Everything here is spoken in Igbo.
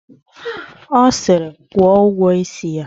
Ọ siri, kwụọ ụgwọ isi ya!